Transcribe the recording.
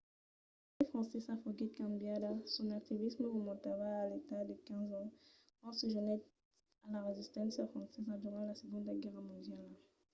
la lei francesa foguèt cambiada. son activisme remontava a l’edat de 15 ans quand se jonhèt a la resisténcia francesa durant la segonda guèrra mondiala